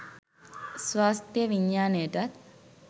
ස්වාස්ථ්‍ය විඥානයටත්